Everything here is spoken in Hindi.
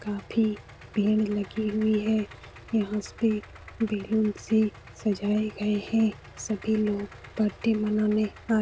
काफी लगी हुई है। यहां पे बैलून से सजे गए हैं। सभी लोग बर्थडे मानाने आ --